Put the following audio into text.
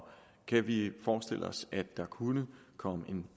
kan vi forestille os at der kunne komme en